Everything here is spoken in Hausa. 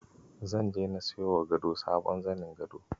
Zan je na siyowa gado na sabon zanin gado.